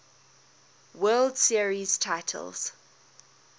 world series titles